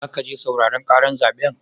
Zaka je sauraren ƙarar zaɓen?